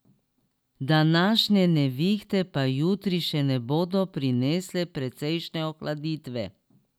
Današnje nevihte pa jutri še ne bodo prinesle precejšnje ohladitve.